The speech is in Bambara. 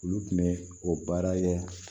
Olu tun bɛ o baara kɛ